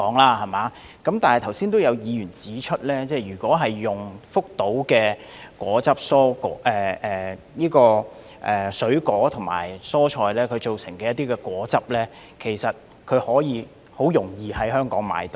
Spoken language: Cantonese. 但是，剛才有議員指出，如果用福島的水果和蔬菜製成的果汁，其實很容易在香港購買得到。